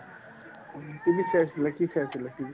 TV চাই আছিলা কি চাই আছিলা কি TV ত